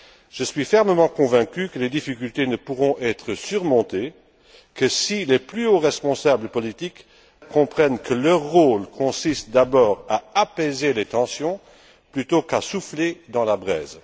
Je suis fermement convaincu que les difficultés ne pourront être surmontées que si les plus hauts responsables politiques comprennent que leur rôle consiste d'abord à apaiser les tensions plutôt qu'à souffler sur la braise.